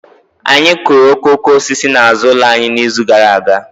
Anyị kụrụ okooko osisi n'azụ ụlọ anyị n'izu gara aga